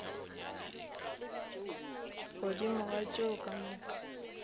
godimo ga tšeo ka moka